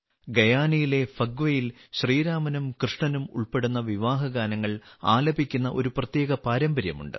ഗയാനയിലെ ഫഗ്വയിൽ ശ്രീരാമനും കൃഷ്ണനും ഉൾപ്പെടുന്ന വിവാഹഗാനങ്ങൾ ആലപിക്കുന്ന ഒരു പ്രത്യേക പാരമ്പര്യമുണ്ട്